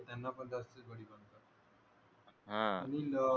त्यांना पण जास्तच बळी पडतात हा